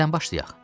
Nədən başlayaq?